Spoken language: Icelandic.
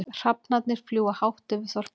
Hrafnarnir fljúga hátt yfir þorpinu.